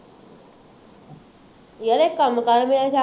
ਯਾਰ ਇੱਕ ਕੰਮ ਕਰ ਮੇਰਾ ਸੱਚ